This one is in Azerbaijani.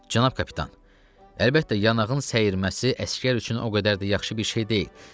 Cənab kapitan, əlbəttə, yanağın səyirməsi əsgər üçün o qədər də yaxşı bir şey deyil.